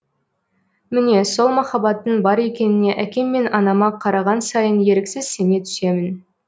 міне сол махаббаттың бар екеніне әкем мен анама қараған сайын еріксіз сене түсемін